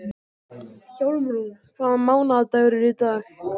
Hjálmrún, hvaða mánaðardagur er í dag?